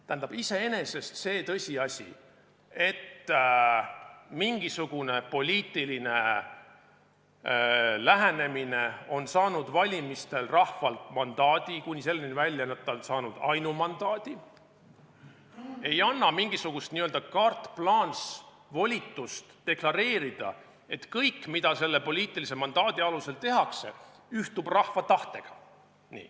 Tähendab, iseenesest see tõsiasi, et mingisugune poliitiline lähenemine on saanud valimistel rahvalt mandaadi – kuni selleni välja, et ta on saanud ainumandaadi – ei anna mingisugust n-ö carte-blanche'i, blankovolitust deklareerida, et kõik, mida selle poliitilise mandaadi alusel tehakse, ühtib rahva tahtega.